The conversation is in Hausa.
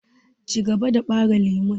Cigaba da ɓare lemu!